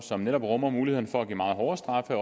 som netop rummer muligheden for at give meget hårde straffe